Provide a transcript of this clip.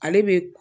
Ale bɛ